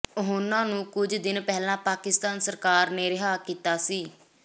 ਉਨ੍ਹਾ ਨੂੰ ਕੁਝ ਦਿਨ ਪਹਿਲਾਂ ਪਾਕਿਸਤਾਨ ਸਰਕਾਰ ਨੇ ਰਿਹਾ ਕੀਤਾ ਸੀ